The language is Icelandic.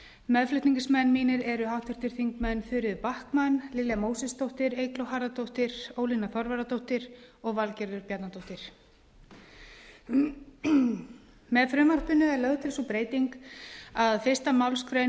meðflutningsmenn mínir eru háttvirtir þingmenn þuríður backman lilja mósesdóttir eygló harðardóttir ólína þorvarðardóttir og valgerður bjarnadóttir með frumvarpinu er lögð til sú breyting að fyrstu málsgrein